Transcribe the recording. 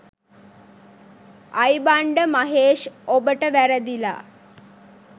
ආයිබංඩ මහේෂ් ඔබට වැරදිලා.